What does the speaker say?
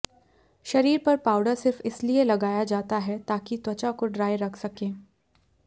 शरीर पर पाउडर सिर्फ इसलिए लगाया जाता है ताकि त्वचा को ड्राई रख सकें